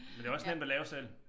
Men det også nemt at lave selv